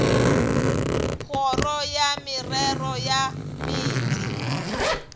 kgoro ya merero ya meetse